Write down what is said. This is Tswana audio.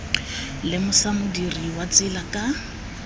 lemosa modirisi wa tsela ka